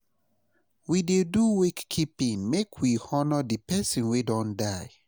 We dey do wake keeping make we honor di pesin wey don die.